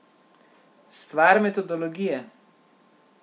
Stvar metodologije.